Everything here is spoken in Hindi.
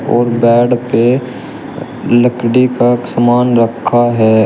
और बेड पे लकड़ी का समान रखा है।